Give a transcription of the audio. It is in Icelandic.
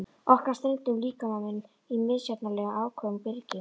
Orkan streymdi um líkamann í misjafnlega áköfum bylgjum.